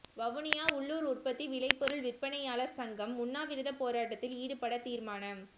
வவுனியா உள்ளூர் உற்பத்தி விளைபொருள் விற்பனையாளர் சங்கம் உண்ணாவிரதப்போராட்டத்தில் ஈடுபட தீர்மானம்